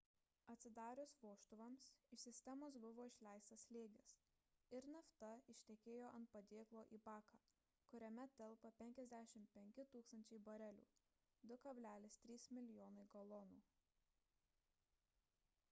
atsidarius vožtuvams iš sistemos buvo išleistas slėgis ir nafta ištekėjo ant padėklo į baką kuriame telpa 55 000 barelių 2,3 mln. galonų